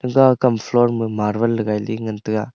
te kam floor ma marble le li ngan tega.